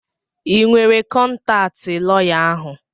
I nwere kọntaatị lọya ahụ?